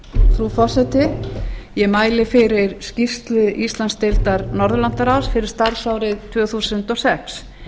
frú forseti ég mæli fyrir skýrslu íslandsdeildar norðurlandaráðs fyrir starfsárið tvö þúsund og sex